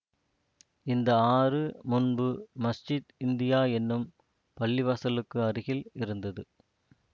இந்த ஆறு முன்பு மஸ்ஜீத் இந்தியா எனும் பள்ளிவாசலுக்கு அருகில் இருந்தது